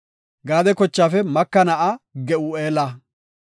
Gaade kochaafe Maka na7aa Ge7u7eela.